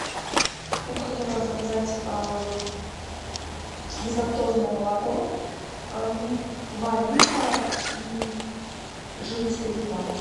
я бы хотела заказать безлактозное молоко два литра и жирность три и два